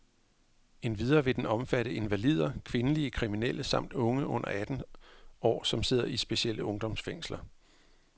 Endvidere vil den omfatte invalider, kvindelige kriminelle samt unge under atten år, som sidder i specielle ungdomsfængsler.